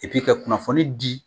Epi ka kunnafoni di